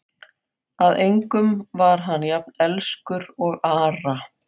Að engum var hann jafn elskur og Ara.